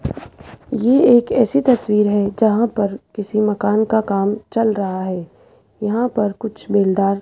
ये एक ऐसी तस्वीर है जहां पर किसी मकान का काम चल रहा है यहां पर कुछ बेलदार --